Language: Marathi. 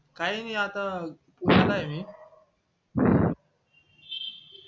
काय नाय आता पुण्याला ये